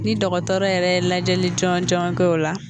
Ni dɔgɔtɔrɔ yɛrɛ lajɛli jɔn jɔn kɛ o la